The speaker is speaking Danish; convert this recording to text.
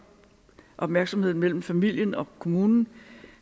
opmærksomheden mellem familien og kommunen